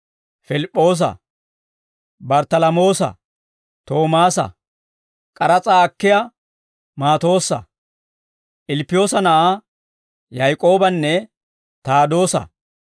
Pilip'p'oosa, Barttalamoosa, Toomaasa, k'aras'aa akkiyaa Maatoossa, Ilppiyoosa na'aa Yaak'oobanne Taadoosa;